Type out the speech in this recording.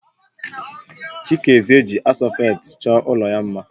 Chikereze ji asfọltu chọọ ụlọ ya mma